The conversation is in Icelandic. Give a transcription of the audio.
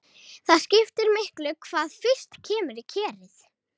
Það skiptir miklu hvað fyrst kemur í kerið.